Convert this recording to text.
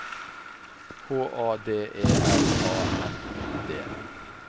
H A D E L A N D